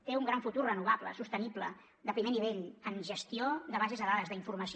té un gran futur renovable sostenible de primer nivell en gestió de bases de dades d’informació